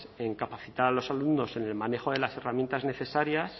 en capacitar a los alumnos en el manejo de las herramientas necesarias